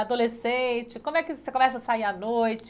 Adolescente, como é que você começa a sair à noite?